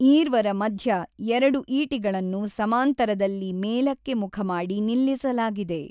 ಈರ್ವರ ಮಧ್ಯ ಎರಡು ಈಟಿಗಳನ್ನು ಸಮಾಂತರದಲ್ಲಿ ಮೇಲಕ್ಕೆ ಮುಖಮಾಡಿ ನಿಲ್ಲಿಸಲಾಗಿದೆ.